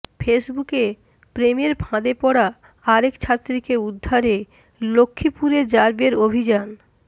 ফেসবুকে প্রেমের ফাঁদে পড়া আরেক ছাত্রীকে উদ্ধারে লক্ষ্মীপুরে র্যাবের অভিযান